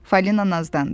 Falina nazlandı.